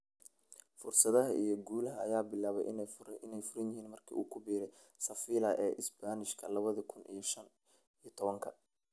Fursadaha iyo guulaha ayaa bilaabay inay furan yihiin markii uu ku biiray Sevilla ee Isbaanishka lawadhi kun iyo shan iyo tawanka.